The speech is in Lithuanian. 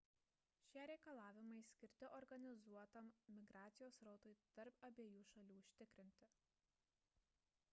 šie reikalavimai skirti organizuotam migracijos srautui tarp abiejų šalių užtikrinti